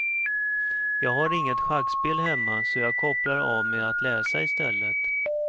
Jag har inget schackspel hemma så jag kopplar av med att läsa istället.